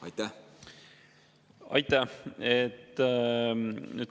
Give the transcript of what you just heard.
Aitäh!